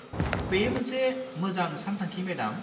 बेयो मोनसे मोजां सानथांखि, मेडाम।